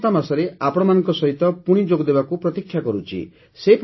ମୁଁ ଆସନ୍ତା ମାସରେ ଆପଣମାନଙ୍କ ସହିତ ପୁଣି ଯୋଗଦେବାକୁ ପ୍ରତୀକ୍ଷା କରୁଛି